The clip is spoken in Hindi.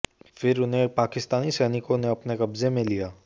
फिर उन्हें पाकिस्तानी सैनिकों ने अपने कब्जे में लिया